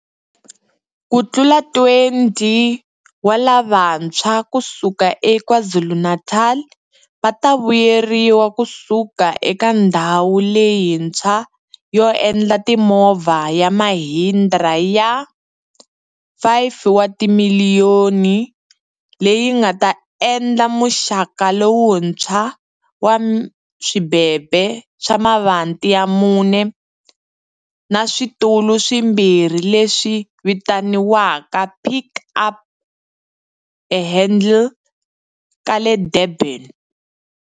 Kutlula 20 wa lavantshwa ku suka eKwaZulu-Natal va ta vuyeriwa ku suka eka ndhawu leyi ntshwa yo endla timovha ya Mahindra ya R5 wa timiliyoni leyi nga ta endla muxaka lowuntshwa wa swibebe swa mavati ya mune na switulu swimbirhi leswi vitaniwaka Pik Up ehandle ka le Durban.